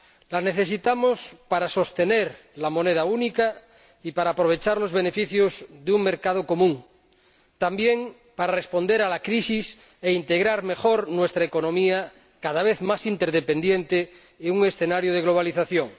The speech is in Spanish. La necesitamos para sostener la moneda única y para aprovechar los beneficios de un mercado común, también para responder a la crisis e integrar mejor nuestra economía, cada vez más interdependiente, en un escenario de globalización